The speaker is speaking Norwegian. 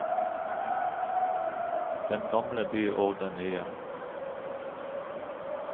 Den gamle by og den nye.